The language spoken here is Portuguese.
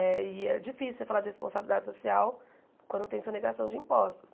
Eh e é difícil você falar de responsabilidade social quando tem sonegação de impostos.